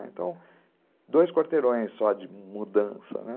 Então, dois quarteirões só de mudança, né.